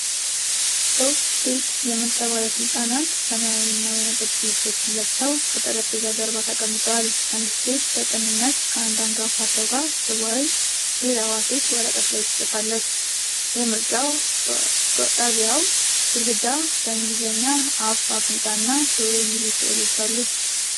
ሦስት ሴት የምርጫ ባለሥልጣናት ሰማያዊና ወይንጠጅ ልብሶችን ለብሰው ከጠረጴዛ ጀርባ ተቀምጠዋል። አንዲት ሴት በቅንነት ከአንድ አንጋፋ ሰው ጋር ስትወያይ፣ ሌላዋ ሴት ወረቀት ላይ ትጽፋለች። የምርጫ ጣቢያው ግድግዳ በእንግሊዝኛ "አፍ"፣ "አፍንጫ" እና "ጆሮ" የሚሉ ሥዕሎች አሉ።